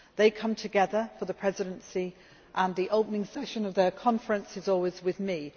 They come together for the Presidency and the opening session of their conference is always with